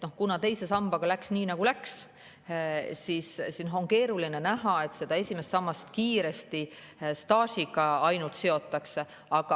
Kuna teise sambaga läks nii, nagu läks, siis on keeruline ette näha, et esimest sammast hakataks kiiresti ainult staažiga siduma.